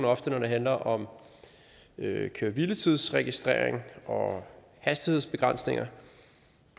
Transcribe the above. ofte når det handler om køre hvile tids registrering og hastighedsbegrænsninger